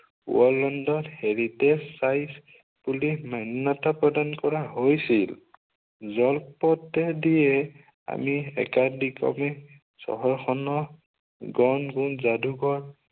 worldin the heritage size বুলি মান্য়তা প্ৰদান কৰা হৈছিল। জলপথেদি আমি একাদিক্ৰমে চহৰ খনৰ গংগুইন যাদুঘৰ